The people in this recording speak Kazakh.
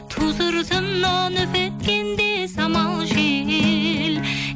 ту сыртымнан үп еткенде самал жел